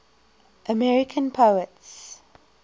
american poets